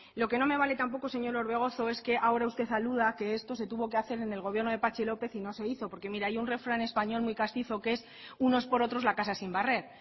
lo que no vale tampoco señor orbegozo es que ahora usted aluda que esto se tuve que hacer en gobierno de patxi lópez y no se hizo porque mire hay un refrán español muy castizo que es unos por otros la casa sin barrer